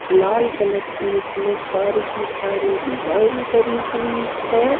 लाल colour की उसमें सारी की सारी डिजाइन करी हुई है।